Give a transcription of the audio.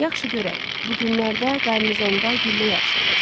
Yaxşı görək, bu günlərdə qarnizonda güllə yarışı olacaq.